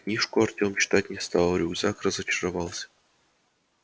книжку артем читать не стал рюкзак разочаровался